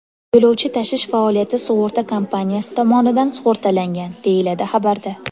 Yo‘lovchi tashish faoliyati sug‘urta kompaniyasi tomonidan sug‘urtalangan”, deyiladi xabarda.